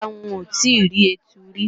Rárá, n ò tíì rí ẹtu rí